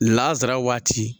Lazara waati.